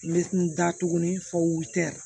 N bɛ n da tuguni fo tɛ